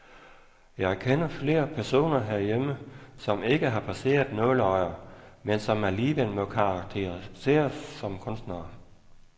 Jeg kender flere personer herhjemme, som ikke har passeret nåleøjer, men som alligevel må karakteriseres som kunstnere.